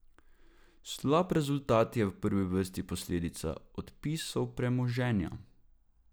Slab rezultat je v prvi vrsti posledica odpisov premoženja.